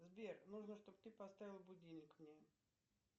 сбер нужно чтоб ты поставил будильник мне